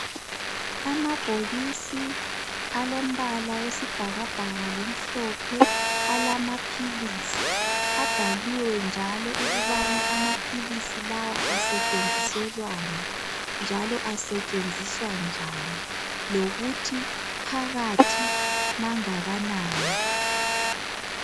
Amabhokisi alombala wesibhakabhaka, lomhlophe, alamaphilisi. Abhaliwe njalo ukubana amaphilisi lawa asetshenziselwani, njalo asetshenziswa njani. Lokuthi phakathi angakanani.